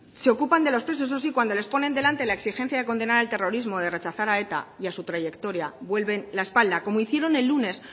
se ocupan de los presos eso sí cuando les ponen delante la exigencia de condenar el terrorismo de rechazar a eta y a su trayectoria vuelven la espalda como hicieron el lunes